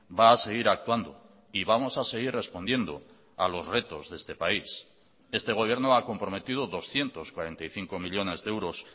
va a seguir actuando y vamos a seguir respondiendo a los retos de este país este gobierno ha comprometido doscientos cuarenta y cinco millónes de euros